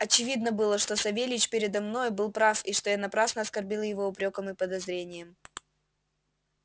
очевидно было что савельич передо мною был прав и что я напрасно оскорбил его упрёком и подозрением